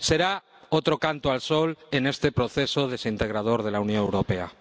Será otro canto al sol en este proceso desintegrador de la Unión Europea.